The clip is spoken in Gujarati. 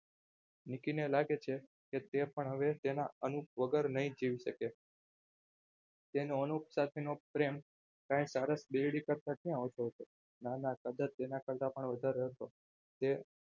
નીતિને લાગે છે કે તે પણ હવે તેના અનુપ વગર નહીં જીવી શકે તેનો અનુપ સાથેનો પ્રેમ કંઈ સારસ બિલ્ડીંગ કરતા ક્યાં ઓછો હતો? નાના સદન તેના કરતાં પણ વધારે હતો જે